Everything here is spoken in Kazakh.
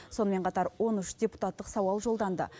сонымен қатар он үш депутаттық сауал жолданды